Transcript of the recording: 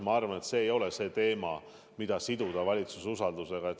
Ma arvan, et see ei ole teema, mida siduda valitsuse usaldusega.